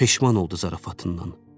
Peşman oldu zarafatından.